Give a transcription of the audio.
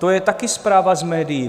To je také zpráva z médií.